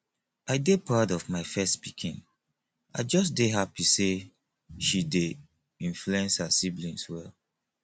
i dey proud of my first pikin i just dey happy say she dey influence her siblings well